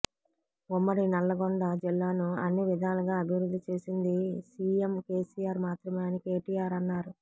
ఉమ్మడి నల్లగొండ జిల్లాను అన్ని విధాలుగా అభివృద్ధి చేసింది సీఎం కేసీఆర్ మాత్రమే అని కేటీఆర్ అన్నారు